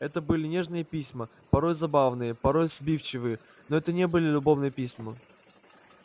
это были нежные письма порой забавные порой сбивчивые но это не были любовные письма